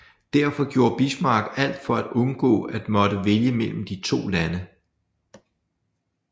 Derfor gjorde Bismarck alt for at undgå at måtte vælge mellem de to lande